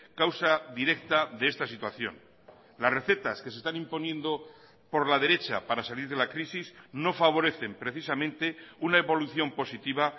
causa directa de esta situación las recetas que se están imponiendo por la derecha para salir de la crisis no favorecen precisamente una evolución positiva